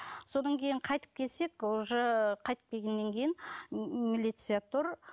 содан кейін қайтып келсек уже қайтып келгеннен кейін милиция тұр